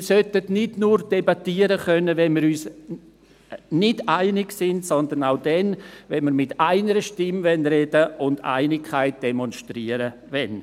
Wir sollten nicht nur debattieren können, wenn wir uns nicht einig sind, sondern auch dann, wenn wir mit einer Stimme sprechen und Einigkeit demonstrieren wollen.